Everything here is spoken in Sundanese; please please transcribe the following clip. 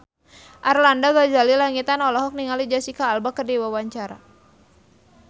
Arlanda Ghazali Langitan olohok ningali Jesicca Alba keur diwawancara